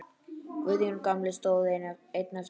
Guðjón gamli stóð einn eftir.